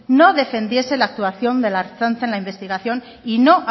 no defendiese la actuación de la ertzaintza en la investigación y no